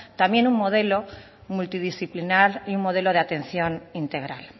también un modelo multidisciplinar un modelo de atención integral